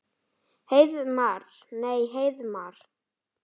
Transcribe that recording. Heiðmar. nei Heiðmar?